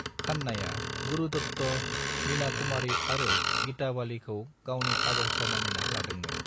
खन्नाया गुरु दत्त, मीना कुमारी आरो गीता बालीखौ गावनि आदर्श मानिना लादोंमोन।